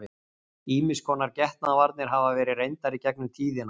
Ýmiss konar getnaðarvarnir hafa verið reyndar í gegnum tíðina.